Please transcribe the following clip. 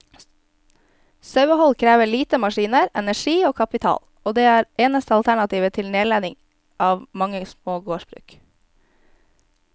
Sauehold krever lite maskiner, energi og kapital, og er det eneste alternativet til nedlegging av mange små gårdsbruk.